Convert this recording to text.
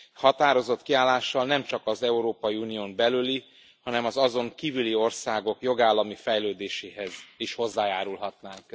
Határozott kiállással nem csak az Európai Unión belüli, hanem az azon kívüli országok jogállami fejlődéséhez is hozzájárulhatnánk.